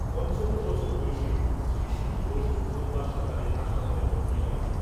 পঞ্চান্ন বছর বয়সী শিশির ঘোষ, সোমবার সকালে হাসপাতালে ভর্তি হন।